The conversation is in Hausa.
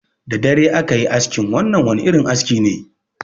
Da dare aka yi askin, wannan wani irin aski ne.